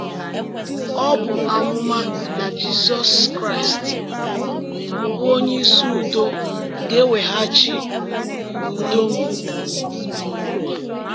Ọ bụ amụma na Jizọs Kraịst, um bụ́ “Onyeisi Udo,” ga-eweghachi um udo um n’ụwa.